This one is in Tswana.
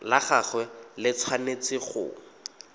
la gagwe le tshwanetse go